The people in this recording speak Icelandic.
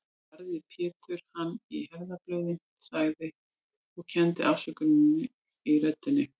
Barði Pétur hann í herðablöðin, sagði, og kenndi afsökunar í röddinni